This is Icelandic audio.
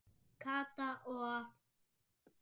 Kata og